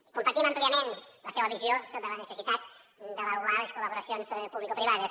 i compartim àmpliament la seva visió sobre la necessitat d’avaluar les col·laboracions publicoprivades